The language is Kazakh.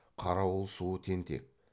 қарауыл суы тентек